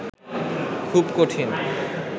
খুব কঠিন